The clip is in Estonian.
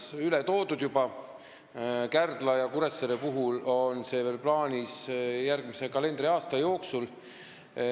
Punkt üks: Kundast on see jah juba Tallinna Häirekeskusesse üle toodud, Kärdla ja Kuressaare puhul on plaanis seda teha järgmise kalendriaasta jooksul.